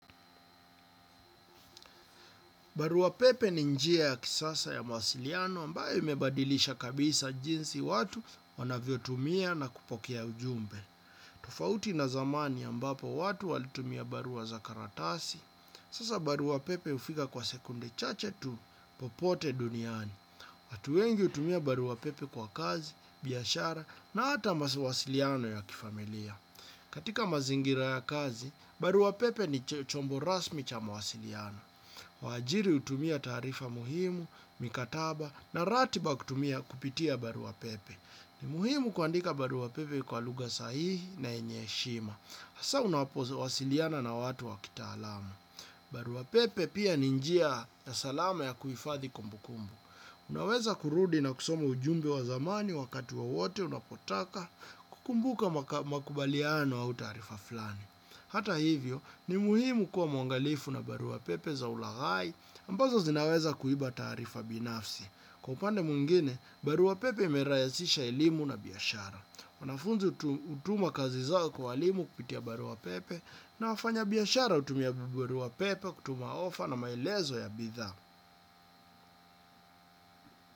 Barua pepe ni njia ya kisasa ya mawasiliano ambayo imebadilisha kabisa jinsi watu wanavyo tumia na kupokea ujumbe. Tofauti na zamani ambapo watu walitumia barua za karatasi, sasa baruapepe hufika kwa sekunde chache tu popote duniani. Watu wengi hutumia baruapepe kwa kazi, biashara na hata mawasiliano ya kifamilia. Katika mazingira ya kazi, baruapepe ni chombo rasmi cha mawasiliano. Wa ajiri hutumia taarifa muhimu, mikataba na ratiba kutumia kupitia barua pepe. Ni muhimu kuandika barua pepe kwa lugha sahihi na yenye heshima. Hasa unapo wasiliana na watu wakitaalamu. Barua pepe pia ni njia ya salama ya kuhifadhi kumbukumbu. Unaweza kurudi na kusoma ujumbe wa zamani wakati wowote unapotaka kukumbuka makubaliano au taarifa fulani. Hata hivyo, ni muhimu kuwa mwangalifu na barua pepe za ulaghai ambazo zinaweza kuiba taarifa binafsi. Kwa upande mwingine, barua pepe imerahisisha elimu na biashara. Wanafunzi hutuma kazi zao kwa walimu kupitia barua pepe na wafanya biashara hutumia barua pepe kutuma ofa na maelezo ya bidhaa.